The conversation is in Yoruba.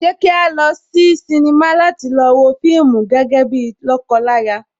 Ṣé kí a lọ sí sinimá láti lọ wo fíìmù gẹ́gẹ́ bíi lọ́kọ láya?